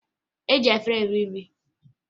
E ji efere eri nri